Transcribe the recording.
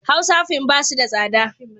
Hausa fin ba su da tsada.